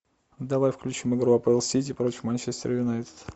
давай включим игру апл сити против манчестер юнайтед